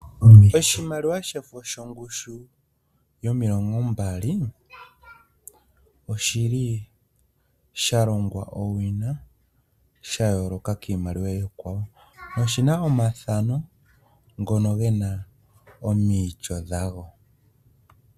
Oshimaliwa shefo shongushu yomilongo mbali, oshi li sha longwa owina sha yooloka kiimaliwa iikwawo, noshi na omathano, ngono ge na omaityo ga go.